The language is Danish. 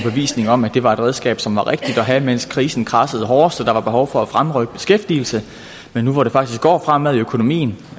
om at det var et redskab som var rigtigt at have mens krisen kradsede hårdest og der var behov for at fremrykke beskæftigelse men nu hvor det faktisk går fremad i økonomien